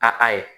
A ayi